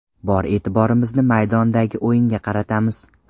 Bor e’tiborimizni maydondagi o‘yinga qaratamiz.